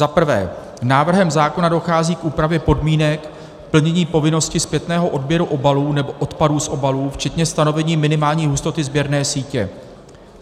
Za prvé, návrhem zákona dochází k úpravě podmínek plnění povinnosti zpětného odběru obalů nebo odpadů z obalů, včetně stanovení minimální hustoty sběrné sítě.